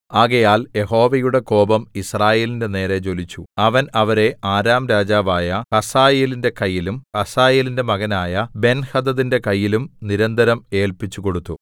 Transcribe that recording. ആകയാൽ യഹോവയുടെ കോപം യിസ്രായേലിന്റെ നേരെ ജ്വലിച്ചു അവൻ അവരെ അരാം രാജാവായ ഹസായേലിന്റെ കയ്യിലും ഹസായേലിന്റെ മകനായ ബെൻഹദദിന്റെ കയ്യിലും നിരന്തരം ഏൽപ്പിച്ചുകൊടുത്തു